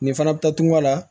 Nin fana bɛ taa tunga la